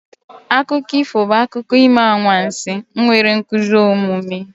Akụkọ ifo bụ akụkọ ime anwansi nwere nkuzi omume.